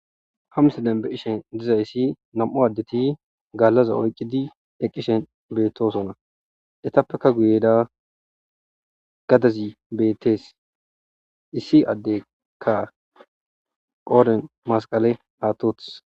Hamse denbe qishen dizayssi nam'u addeti gaallaza oyqqidi eqqishen beettosonna etappeka guyeda gadazi beettees issi addeka qoden masqale aatots